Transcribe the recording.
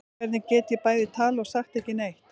Hvernig get ég bæði talað og sagt ekki neitt?